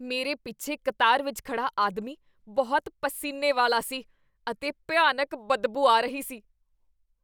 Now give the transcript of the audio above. ਮੇਰੇ ਪਿੱਛੇ ਕਤਾਰ ਵਿੱਚ ਖੜ੍ਹਾ ਆਦਮੀ ਬਹੁਤ ਪਸੀਨੇ ਵਾਲਾ ਸੀ ਅਤੇ ਭਿਆਨਕ ਬਦਬੂ ਆ ਰਹੀ ਸੀ।